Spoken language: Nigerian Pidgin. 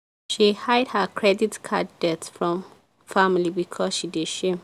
she hide her credit card debt from family because she dey shame